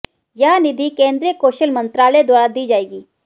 यह निधि केन्द्रीय कौशल मंत्रालय द्वारा दी जायेगी